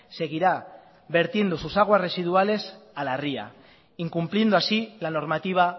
seguirá vertiendo sus aguas residuales a la ría incumpliendo así la normativa